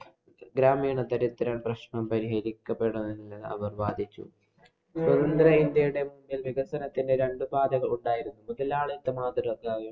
ഗ്രാമീണ പ്രശ്നം പരിഹരിക്കപ്പെടും എന്ന് അവര്‍ വാദിച്ചു. സ്വതന്ത്ര ഇന്‍ഡ്യയുടെ വികസനത്തിന് രണ്ടു പാതകള്‍ ഉണ്ടായിരുന്നു. മുതലാളിത്ത